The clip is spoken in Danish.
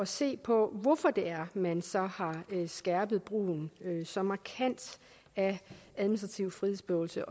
se på hvorfor man så har skærpet brugen så markant af administrativ frihedsberøvelse